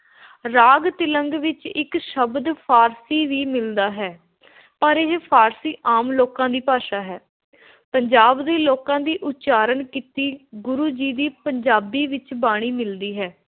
‘ਰਾਗ ਤਿਲੰਗ’ ਵਿੱਚ ਇੱਕ ਸ਼ਬਦ ਫ਼ਾਰਸੀ ਵੀ ਮਿਲਦਾ ਹੈ, ਪਰ ਇਹ ਫ਼ਾਰਸੀ ਆਮ ਲੋਕਾਂ ਦੀ ਭਾਸ਼ਾ ਹੈ। ਪੰਜਾਬ ਦੇ ਲੋਕਾਂ ਲਈ ਉਚਾਰਨ ਕੀਤੀ ਗੁਰੂ ਜੀ ਦੀ ਪੰਜਾਬੀ ਵਿਚ ਬਾਣੀ ਮਿਲਦੀ ਹੈ ।